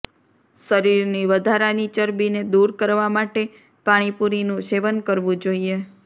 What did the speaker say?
શરીરની વધારાની ચરબીને દૂર કરવા માટે પાણીપુરીનું સેવન કરવું જોઈએ